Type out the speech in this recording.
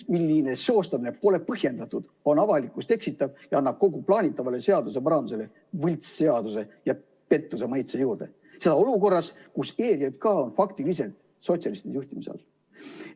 Selline seostamine pole põhjendatud, on avalikkust eksitav ja annab kogu plaanitavale seaduseparandusele võltsseaduse ja pettuse maitse juurde, seda olukorras, kus ERJK on faktiliselt sotsialistide juhtimise all.